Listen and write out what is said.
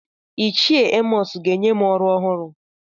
Ichie Emọs ga-enye m ọrụ ọhụrụ.